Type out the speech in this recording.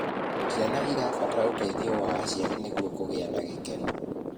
Ciana irabatara ũteithio wa aciari nĩguo kugia na gikeno